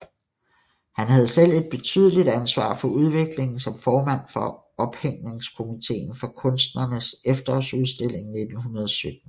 Han havde selv et betydeligt ansvar for udviklingen som formand for ophængningskomiteen for Kunstnernes Efterårsudstilling 1917